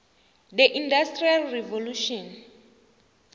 the industrial revolution